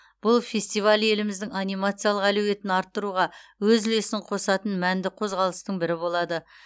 бұл фестиваль еліміздің анимациялық әлеуетін арттыруға өз үлесін қосатын мәнді қозғалыстың бірі болады